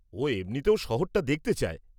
ও এমনিতেও শহরটা দেখতে চায়।